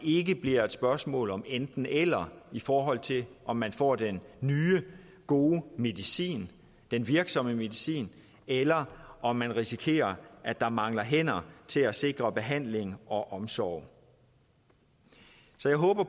ikke bliver et spørgsmål om enten eller i forhold til om man får den nye gode medicin den virksomme medicin eller om man risikerer at der mangler hænder til at sikre behandling og omsorg så jeg håber